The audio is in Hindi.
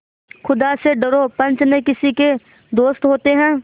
खुदा से डरो पंच न किसी के दोस्त होते हैं